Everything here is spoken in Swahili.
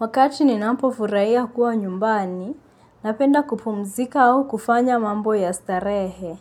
Wakati ninampo furaia kuwa nyumbani, napenda kupumzika au kufanya mambo ya starehe.